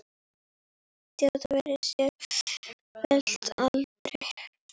Þjóðin verður sífellt eldri.